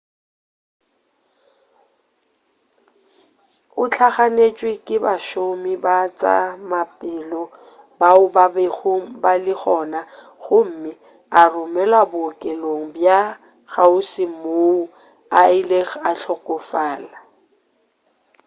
o hlaganetšwe ke bašomi ba tša maphelo bao ba bego ba le gona gomme a romelwa bookelong bja kgauswi moo a ilego a hlokofala